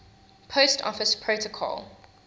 post office protocol